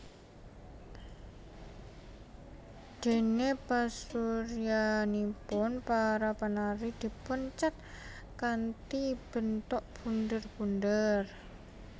Dene pasuryanipun para penari dipun cet kanthi bentuk bunder bunder